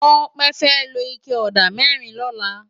Tope fè ló iké òdá mèrín lòlá